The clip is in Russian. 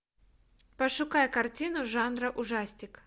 пошукай картину жанра ужастик